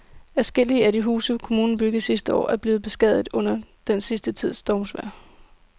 Adskillige af de huse, som kommunen byggede sidste år, er blevet beskadiget under den sidste tids stormvejr.